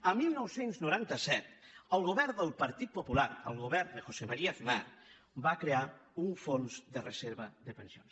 el dinou noranta set el govern del partit popular el govern de josé maría aznar va crear un fons de reserva de pensions